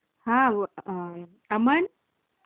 हा व...अमण